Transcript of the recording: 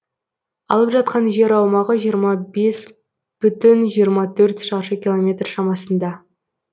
алып жатқан жер аумағы жиырма бес бүтін жиырма төрт шаршы километр шамасында